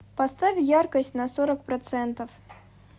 поставить яркость на сорок процентов